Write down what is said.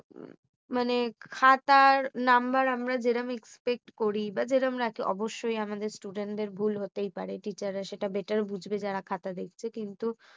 মানে খাতার নাম্বার আমরা যেরাম আমরা expect করি বা যেরম রাখলে অবশ্যই আমাদের student দের ভুল হতেই পারে। teacher রা সেটা better বুজবে। যারা খাতা দেখছে কিন্তু